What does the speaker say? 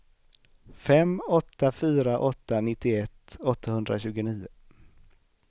fem åtta fyra åtta nittioett åttahundratjugonio